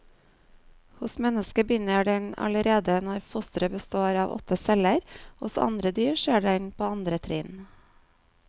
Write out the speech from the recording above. Hos mennesket begynner den allerede når fosteret består av åtte celler, hos andre dyr skjer den på andre trinn.